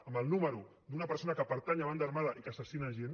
amb el número d’una persona que pertany a una banda armada i que assassina gent